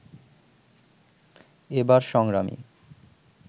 এবার সংগ্রামী